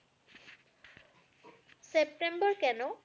September কেন?